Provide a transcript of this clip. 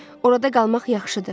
Orada qalmaq yaxşıdır.